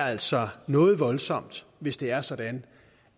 altså noget voldsomt hvis det er sådan